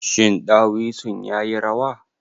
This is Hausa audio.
Shin ɗawisun ya yi rawa?